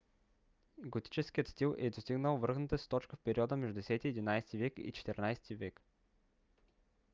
готическият стил е достигнал връхната си точка в периода между 10–11 век и 14-ти век